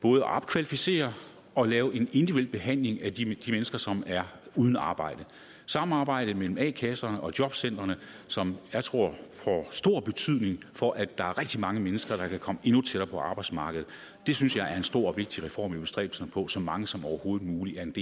både at opkvalificere og lave en individuel behandling af de de mennesker som er uden arbejde samarbejde mellem a kasserne og jobcentrene som jeg tror får stor betydning for at der er rigtig mange mennesker der kan komme endnu tættere på arbejdsmarkedet synes jeg er en stor og vigtig reform i bestræbelserne på at så mange som overhovedet muligt